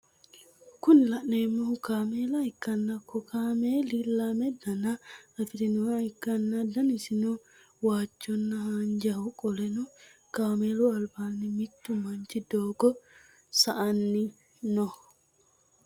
Kuni laneemmohu kameela ikkanna ko kammeli lame dana afirimoha ikkanna danisino waajjona haanjjaho qoleno kameelu albaani mittu manchi dogo sa'ani no